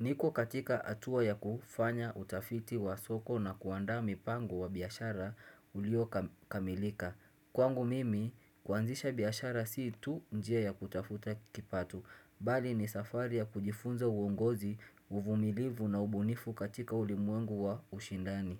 Niko katika atua ya kufanya utafiti wa soko na kuandaa mipango wa biashara uliokamilika. Kwangu mimi kuanzisha biashara si tu njia ya kutafuta kipato. Bali ni safari ya kujifunza uongozi, uvumilivu na ubunifu katika ulimwengu wa ushindani.